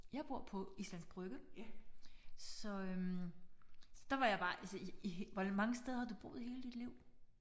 Jeg bor på Islands Brygge. Så øh så der var jeg bare altså hvor mange steder har du boet i hele dit liv?